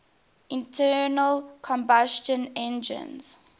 internal combustion engines